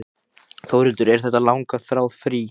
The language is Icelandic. Þórhildur: Er þetta langþráð frí?